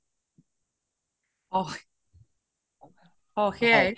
অ অ সেইয়াই